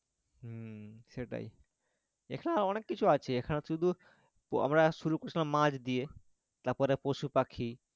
হম সেটাই এখানে অনেক কিছু আছে এখানে শুধু আমরা শুরু করেছিলাম মাছ দিয়ে তারপরে পশুপাখি